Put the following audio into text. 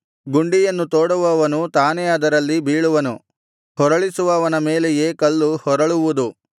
ಗುಂಡಿಯನ್ನು ತೋಡುವವನು ತಾನೇ ಅದರಲ್ಲಿ ಬೀಳುವನು ಹೊರಳಿಸುವವನ ಮೇಲೆಯೇ ಕಲ್ಲು ಹೊರಳುವುದು